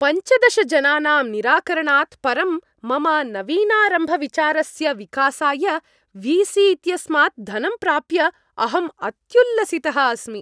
पञ्चदश जनानां निराकरणात् परं मम नवीनारम्भविचारस्य विकासाय वी सी इत्यस्मात् धनं प्राप्य अहम् अत्युल्लसितः अस्मि।